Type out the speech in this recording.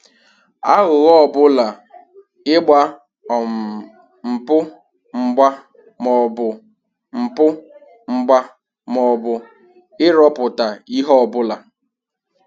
Aghụghọ ọbụla ịgba um mpụ mgba maọbụ mpụ mgba maọbụ ịrụpụta ihe ọbụla